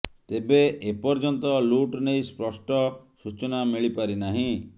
ତେବେ ଏ ପର୍ଯ୍ୟନ୍ତ ଲୁଟ ନେଇ ସ୍ପଷ୍ଟ ସୂଚନା ମିଳିପାରିନାହିଁ